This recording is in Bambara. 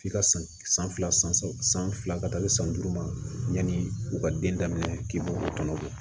F'i ka san fila san saba san fila ka taa se san duuru ma yanni u ka den daminɛ k'i b'olu kɔnɔ